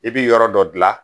I bɛ yɔrɔ dɔ dilan